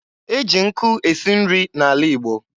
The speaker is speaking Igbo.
E ji nkụ esi nri n'ala Igbo.